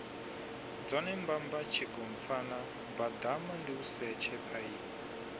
dzone mbamba tshigompfana baḓamandiusetshe phaini